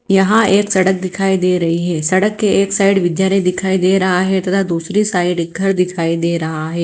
यहां एक सड़क दिखाई दे रही है सड़क के एक साइड विद्यालय दिखाई दे रहा है तथा दूसरी साइड एक घर दिखाई दे रहा है।